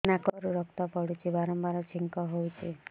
ନାକରୁ ରକ୍ତ ପଡୁଛି ବାରମ୍ବାର ଛିଙ୍କ ହଉଚି